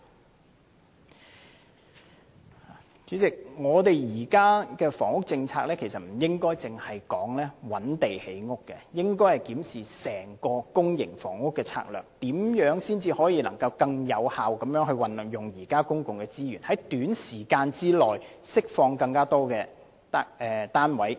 代理主席，現時的房屋政策，我們不應只談覓地建屋，而應檢視整個公營房屋的策略，如何能夠更有效地運用現有的公共資源，在短時間內釋放更多單位。